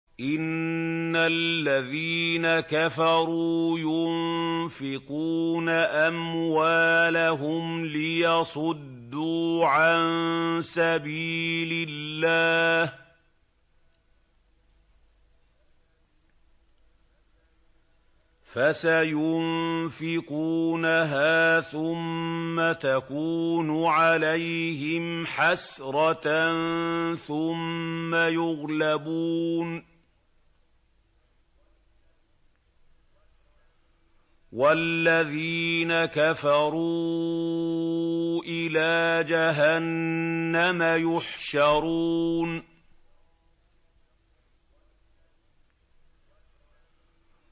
إِنَّ الَّذِينَ كَفَرُوا يُنفِقُونَ أَمْوَالَهُمْ لِيَصُدُّوا عَن سَبِيلِ اللَّهِ ۚ فَسَيُنفِقُونَهَا ثُمَّ تَكُونُ عَلَيْهِمْ حَسْرَةً ثُمَّ يُغْلَبُونَ ۗ وَالَّذِينَ كَفَرُوا إِلَىٰ جَهَنَّمَ يُحْشَرُونَ